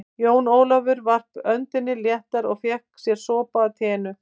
Jón Ólafur varp öndinni léttar og fékk sér sopa af teinu.